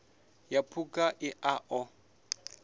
ya phukha i a ṱo